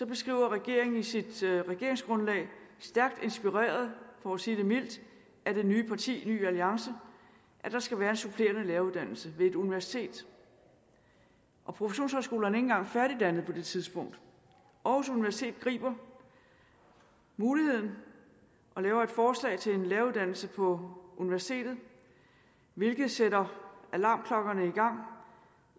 beskriver regeringen i sit regeringsgrundlag stærkt inspireret for at sige det mildt af det nye parti ny alliance at der skal være en supplerende læreruddannelse ved et universitet professionshøjskolerne engang færdigdannede på det tidspunkt aarhus universitet griber muligheden og laver et forslag til en læreruddannelse på universitetet hvilket sætter alarmklokkerne